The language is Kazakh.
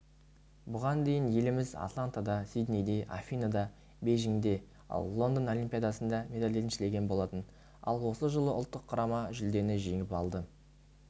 бұған дейін еліміз атлантада сиднейде афиныда бейжіңде ал лондон олимпиадасында медаль еншілеген болатын ал осы жолы ұлттық құрама жүлдені жеңіп алды